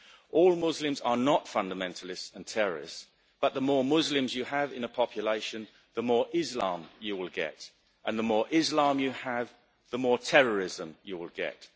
All Muslims are not fundamentalists and terrorists, but the more Muslims you have in a population, the more Islam you will get, and the more Islam you have, the more terrorism you will get.